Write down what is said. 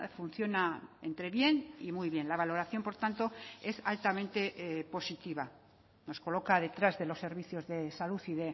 funciona entre bien y muy bien la valoración por tanto es altamente positiva nos coloca detrás de los servicios de salud y